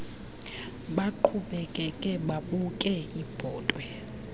baqhubekeke babuke ibhotwe